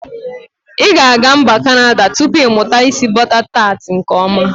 I ga aga mba kanada tupu imuta isi bọta tat nke ọma.